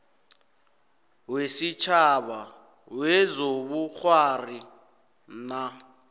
wesitjhaba wezobukghwari nac